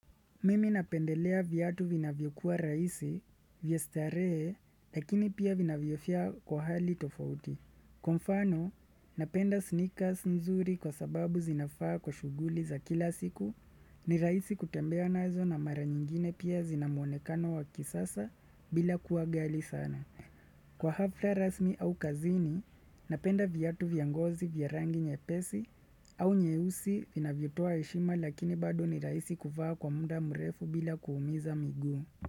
Mimi napendelea vyatu vinavyokuwa rahisi, vya starehe, lakini pia vinavyofia kwa hali tofauti. Kwa mfano, napenda sneakers nzuri kwa sababu zinafaa kwa shuguli za kila siku ni rahisi kutembea nazo na mara nyingine pia zinamuonekano wa kisasa bila kuwa gali sana. Kwa hafla rasmi au kazini, napenda vyatu vya ngozi vya rangi nyepesi au nyeusi vina vyotua heshima lakini bado ni rahisi kufaa kwa muda mrefu bila kuumiza miguu.